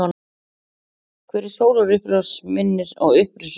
Hver sólarupprás minnir á upprisuna.